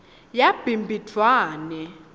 yabhimbidvwane